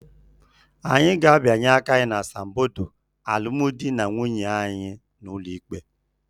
Anyị ga-abịanye aka n'asambodo alụmdi na nwunye anyị n'ụlọ ikpe